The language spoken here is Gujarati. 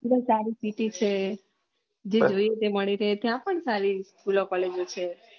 ત્યાં સારું science city છે જે જોયીયે એ મળી જાય ત્યાં પણ સારી સ્ચોલો કોલેજો છે